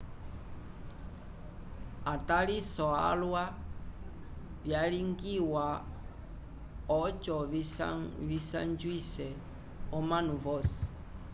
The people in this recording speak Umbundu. ataliso alwa vyalingiwa oco visanjwise omanu vosi